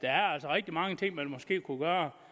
rigtig mange ting man måske kunne gøre